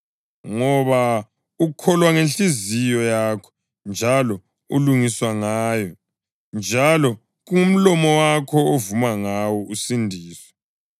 Ngoba ukholwa ngenhliziyo yakho njalo ulungiswa ngayo, njalo kungomlomo wakho ovuma ngawo usindiswe.